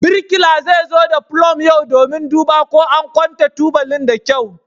Birkila zai zo da pulum yau domin duba ko an kwanta tubalin da kyau.